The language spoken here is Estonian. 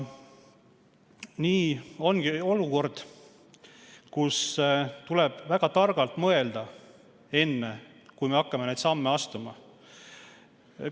Nii ongi olukord, kus tuleb väga targalt mõelda, enne kui hakata neid samme astuma.